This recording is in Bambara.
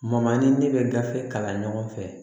Mama ni ne bɛ gafe kalan ɲɔgɔn fɛ